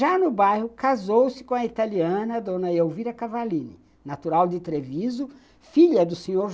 Já no bairro, casou-se com a italiana Dona Elvira Cavallini, natural de Treviso, filha do Sr.